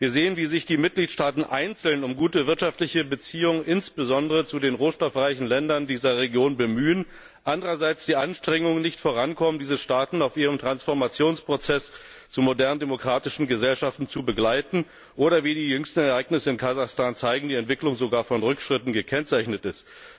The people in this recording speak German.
Wir sehen, wie sich die Mitgliedstaaten einzeln um gute wirtschaftliche Beziehungen insbesondere zu den rohstoffreichen Ländern dieser Region bemühen, andererseits die Anstrengungen, diese Staaten auf ihrem Transformationsprozess zu modernen demokratischen Gesellschaften zu begleiten, nicht vorankommen oder wie die jüngsten Ereignisse in Kasachstan zeigen die Entwicklung sogar von Rückschritten gekennzeichnet ist.